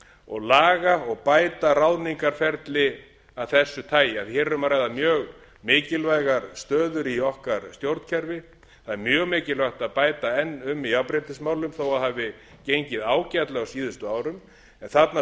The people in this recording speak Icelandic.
og laga og bæta ráðningarferli af þessu tagi hér er um að ræða mjög mikilvægar stöður í okkar stjórnkerfi það er mjög mikilvægt að bæta enn um í jafnréttismálum þó að það hafi gengið ágætlega á síðustu árum en þarna